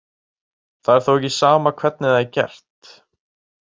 Það er þó ekki sama hvernig það er gert.